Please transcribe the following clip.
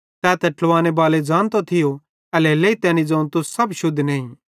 तै त ट्लावाने बाले ज़ानतो थियो एल्हेरेलेइ तैनी ज़ोवं तुस सब शुद्ध नईं